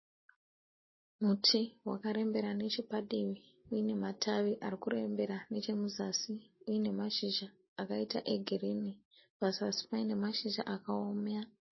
Muti wakarembera nechepadivi unematavi arikurembera nechepazasi , inemashizha akaita egirini pazasi panemashizha akawoma.